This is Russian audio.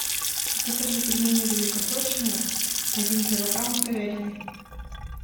закажи пельмени великосочные один килограмм с говядиной